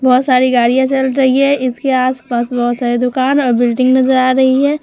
बोहोत सारी गाड़ियां चल रही है इसके आस-पास बोहोत सारे दुकान और बिल्डिंग नज़र आ रही है।